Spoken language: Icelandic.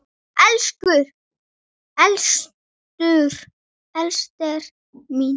Elsku Ester mín.